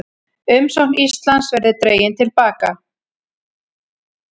Umsókn Íslands verði dregin til baka